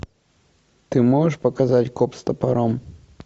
ты можешь показать коп с топором